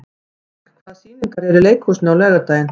Frank, hvaða sýningar eru í leikhúsinu á laugardaginn?